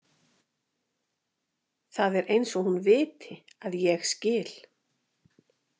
Það er eins og hún viti að ég skil.